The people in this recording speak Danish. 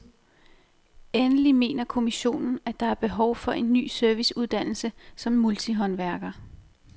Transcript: Endelig mener kommissionen, at der er behov for en ny serviceuddannelse som multihåndværker.